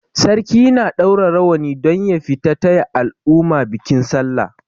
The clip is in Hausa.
Sarki na ɗaura rawani don ya fita taya al'umma bikin sallah.